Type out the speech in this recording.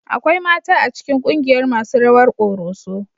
Akwai mata a cikin kungiyar masu rawar ƙoroso